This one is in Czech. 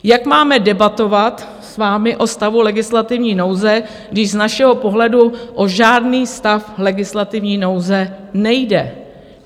Jak máme debatovat s vámi o stavu legislativní nouze, když z našeho pohledu o žádný stav legislativní nouze nejde?